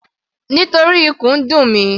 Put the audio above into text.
Nítorí ikùn ń dùn mi.